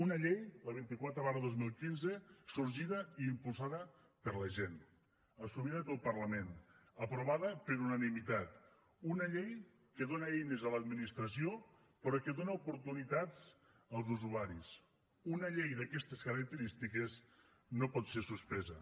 una llei la vint quatre dos mil quinze sorgida i impulsada per la gent assumida pel parlament aprovada per unanimitat una llei que dóna eines a l’administració però que dóna oportunitats als usuaris una llei d’aquestes característiques no pot ser suspesa